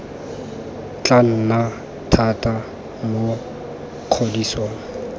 tla nna thata mo kgodisong